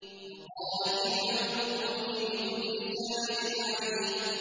وَقَالَ فِرْعَوْنُ ائْتُونِي بِكُلِّ سَاحِرٍ عَلِيمٍ